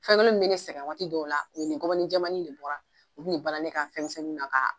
Fɛn kelen min bɛ ne sɛgɛn waati dɔw la, o ye ni gɔbɔni jɛmani de bɔra, u kun be balan ne ka fɛn misɛnnuw na k'a